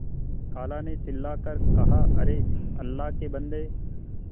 खाला ने चिल्ला कर कहाअरे अल्लाह के बन्दे